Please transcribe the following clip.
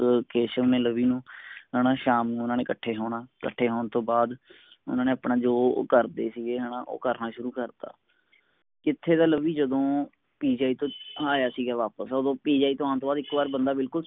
ਕੇਸ਼ਵ ਨੇ ਲਵੀ ਨੂੰ ਹੈਨਾ ਸ਼ਾਮ ਨੂੰ ਓਹਨਾ ਨੇ ਕੱਠੇ ਸੋਨਾ ਕੱਠੇ ਹੋਣ ਤੋਂ ਬਾਦ ਓਹਨਾ ਨੇ ਆਪਣਾ ਜੋ ਊ ਕਰਦੇ ਸੀਗੇ ਹੈਨਾ ਉਹ ਕਰਨਾ ਸ਼ੁਰੂ ਕਰਤਾ ਕਿੱਥੇ ਤਾਂ ਲਵੀ ਜਦੋਂ PGI ਤੋਂ ਅਹ ਆਇਆ ਸਿਗਾ ਵਾਪਸ ਓਦੋਂ PGI ਤੋਂ ਆਨ ਤੋਂ ਬਾਦ ਇਕ ਵਾਰ ਬੰਦਾ ਬਿਲਕੁਲ